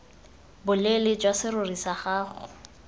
boleele jwa serori sa gago